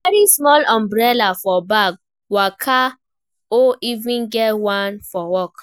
Carry small umbrella for bag waka or even get one for work